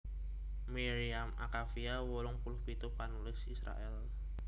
Miriam Akavia wolung puluh pitu panulis Israèl